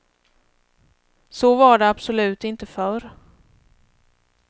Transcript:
Så var det absolut inte förr.